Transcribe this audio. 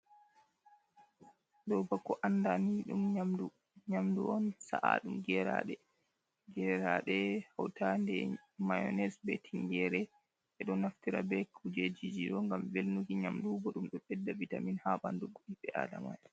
Ɗo ba ko anda ni ɗum nyamdu, nyamdu on sa’a ɗum geraɗe, geraɗe hautande mayonis, be tingere. Ɓe ɗo naftira be kujejiji ɗo ngam velnuki nyamdu, bo ɗum ɗo ɓedda vitamin ha ɓandu ɓi Adama.